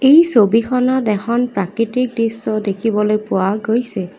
এই ছবিখনত এখন প্ৰাকৃতিক দৃশ্য দেখিবলৈ পোৱা গৈছে।